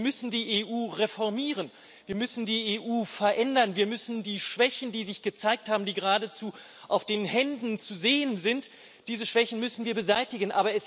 Natürlich, wir müssen die EU reformieren, wir müssen die EU verändern. Wir müssen die Schwächen, die sich gezeigt haben, die geradezu auf den Händen zu sehen sind, beseitigen.